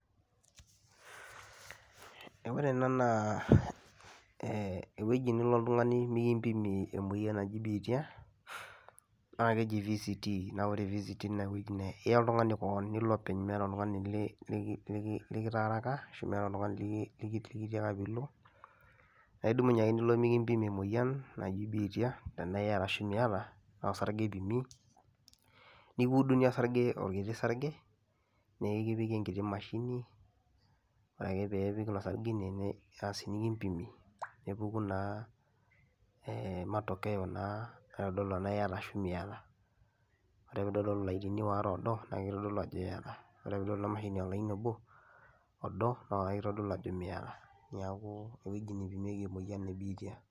Ee ore ena naa ewueji niloo iltung'ani mikimpiimi moiyian najii biitia naa kejii VCT naa ore VCT naa wueji naa eyaa iltung'ani koon niloo openy mieta iltung'ana likitaaraka arashu mieta iltung'ani likitiaka pii eloo. Naa eidumunye ake niloo mikimpiimi moiyian najii biitia tana eiyataa arashu mietaa, naa isaarig'e epiimi nikiuduni saaring'e o kitii saaring'e nikipiiki enkitii maashini. Ore ake pee apiiki osaaring'e aas nikimpiimi aas nepukuu naa e matokeo naa neitadoluu ajoo mieta ana eiyataa. Ore pee eitadoluu laini oare odoo naa keitodoluu ajoo eiyataa , ore pee otodoluu e mashinii olaini oboo odoo naa keitodoluu ajoo mietaa. Neaku wueji neipimieki moyian e biitia.